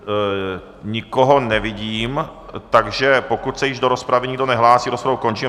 Nikoho nevidím, takže pokud se již do rozpravy nikdo nehlásí, rozpravu končím.